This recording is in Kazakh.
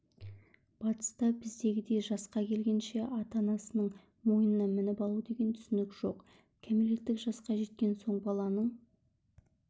батыста біздегідей жасқа келгенше ата-анасының мойнына мініп алу деген түсінік жоқ кәмелеттік жасқа жеткен соң баланың